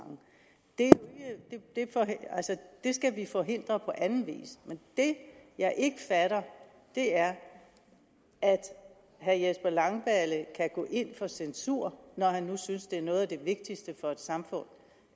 det skal vi forhindre på anden vis men det jeg ikke fatter er at herre jesper langballe kan gå ind for censur når han nu synes noget af det vigtigste for et samfund